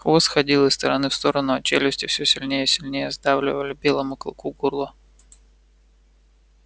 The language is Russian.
хвост ходил из стороны в сторону а челюсти всё сильнее и сильнее сдавливали белому клыку горло